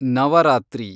Navratri